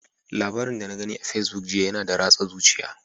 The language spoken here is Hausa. Labarin da na gani a Facebook jiya yana da ratsa zuciya.